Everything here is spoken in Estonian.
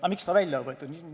Aga miks see on välja võetud?